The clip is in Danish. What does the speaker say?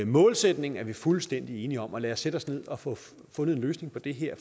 målsætningen er vi fuldstændig enige om og lad os sætte os ned og få fundet en løsning på det her